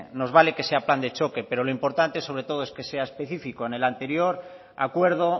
nos vale que sea plan de choque pero lo importante sobre todo es que sea específico en el anterior acuerdo